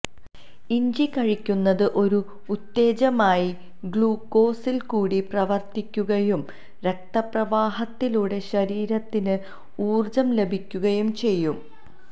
ഇഞ്ചി കഴിക്കുന്നത് ഒരു ഉത്തേജകമായി ഗ്ലൂക്കോസില് കൂടി പ്രവര്ത്തിക്കുകയും രക്തപ്രവാഹത്തിലൂടെ ശരീരത്തിന് ഊര്ജ്ജം ലഭിക്കുകയും ചെയ്യും